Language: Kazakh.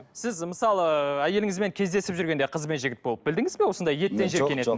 сіз мысалы ыыы әйеліңізбен кездесіп жүргенде қыз бен жігіт болып білдіңіз бе осындай еттен жиіркенетінін